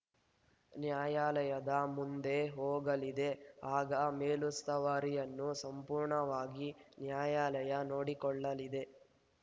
ನ್ಯಾಯಾಲಯದ ಮುಂದೆ ಹೋಗಲಿದೆ ಆಗ ಮೇಲುಸ್ತುವಾರಿಯನ್ನು ಸಂಪೂರ್ಣವಾಗಿ ನ್ಯಾಯಾಲಯ ನೋಡಿಕೊಳ್ಳಲಿದೆ